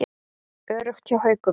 Öruggt hjá Haukum